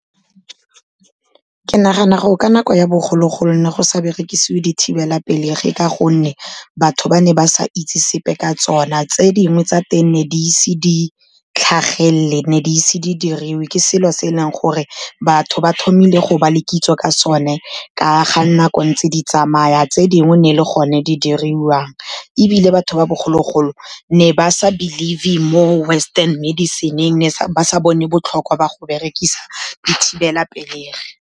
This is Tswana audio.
Ke nagana gore ka nako ya bogologolo go ne go sa berekisiwe dithibelapelegi ka gonne, batho ba ne ba sa itse sepe ka tsona, tse dingwe tsa teng ne di ise di tlhagelele, ne di ise di diriwe. Ke selo se e leng gore batho ba tlhomile go ba le kitso ka sone ka ga nako ntse di tsamaya, tse dingwe ne e le gone di diriwang, ebile batho ba bogologolo ne ba sa believe-e mo western medicine-eng, ne ba sa bone botlhokwa ba go berekisa dithibelapelegi.